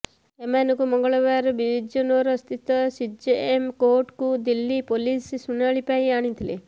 ଏମାନଙ୍କୁ ମଙ୍ଗଳବାର ବିଜନୌର ସ୍ଥିତ ସିଜେଏମ କୋର୍ଟକୁ ଦିଲ୍ଲୀ ପୋଲିସ ଶୁଣାଣି ପାଇଁ ଆଣିଥିଲେ